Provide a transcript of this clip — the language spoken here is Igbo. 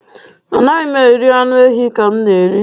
Anaghị m eri anụ ehi ka m na-eri.